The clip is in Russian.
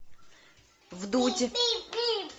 вдудь